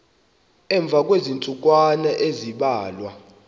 emva kweentsukwana ezimbalwa